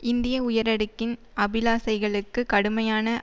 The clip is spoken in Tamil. இந்திய உயரடுக்கின் அபிலாசைகளுக்கு கடுமையான